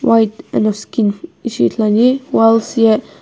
white eno skin ishi ithuluani ani walls ye.